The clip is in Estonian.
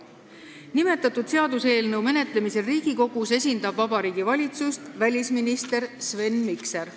Nimetatud seaduseelnõu menetlemisel Riigikogus esindab Vabariigi Valitsust välisminister Sven Mikser.